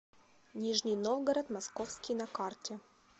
нижний новгород московский на карте